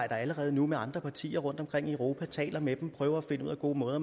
allerede nu med andre partier rundtomkring i europa taler med dem prøver at finde ud af gode måder